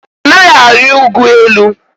Anaghị arị ụgụ elu.